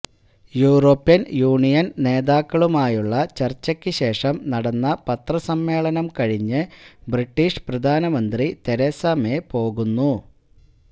European Union നേതാക്കളുമായുള്ള ചർച്ചക്കു ശേഷം നടന്ന പത്രസമ്മേളനം കഴിഞ്ഞ് ബ്രിട്ടീഷ് പ്രധാനമന്ത്രി തെരേസ മേ പോകുന്നു